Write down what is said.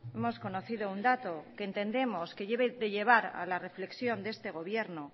hemos conocido un dato que entendemos que debe de levar a la reflexión de este gobierno